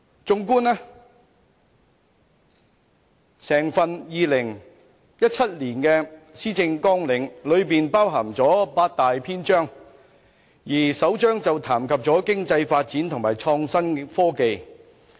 綜觀2017年的施政綱領，裏面包含八大篇章，而首章談及經濟發展和創新及科技。